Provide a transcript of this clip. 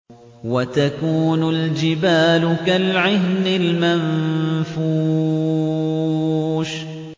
وَتَكُونُ الْجِبَالُ كَالْعِهْنِ الْمَنفُوشِ